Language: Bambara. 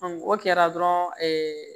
o kɛra dɔrɔn ɛɛ